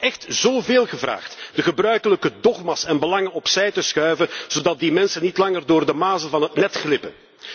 Is het dan echt zoveel gevraagd de gebruikelijke dogma's en belangen opzij te schuiven, zodat die mensen niet langer door de mazen van het net glippen?